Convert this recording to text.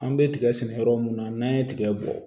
An bɛ tigɛ sɛnɛ yɔrɔ mun na n'an ye tigɛ bɔ